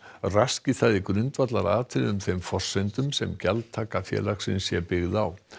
raski það í grundvallaratriðum þeim forsendum sem gjaldtaka félagsins sé byggð á